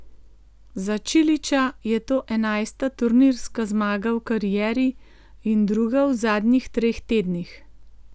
Za Čilića je to enajsta turnirska zmaga v karieri in druga v zadnjih treh tednih.